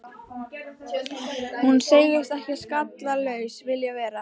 Hann segist ekki skallalaus vilja vera.